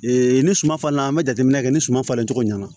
ni suman falen an be jateminɛ kɛ ni suman falen cogo ɲɛna